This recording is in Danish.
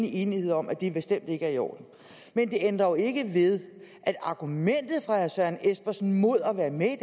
enighed om at det bestemt ikke er i orden det ændrer ikke ved at argumentet fra herre søren espersen mod at være med i